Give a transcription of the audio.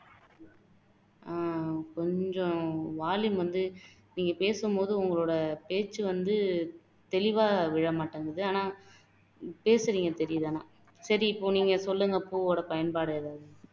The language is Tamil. ஆஹ் கொஞ்சம் volume வந்து நீங்க பேசும் போது உங்களோட பேச்சு வந்து தெளிவா விழ மாட்டேங்குது ஆனா பேசுறீங்க தெரியுது ஆனா சரி இப்போ நீங்க சொல்லுங்க பூவோட பயன்பாடு எதாவது